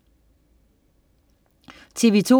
TV2: